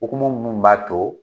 Hokumu munnu b'a to